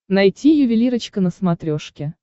найти ювелирочка на смотрешке